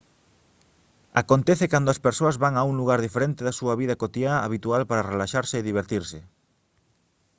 acontece cando as persoas van a un lugar diferente da súa vida cotiá habitual para relaxarse e divertirse